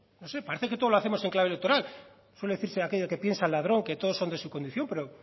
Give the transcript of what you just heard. no sé parece que todo lo hacemos en clave electoral suele decirse aquello de que piensa el ladrón que todos son de su condición pero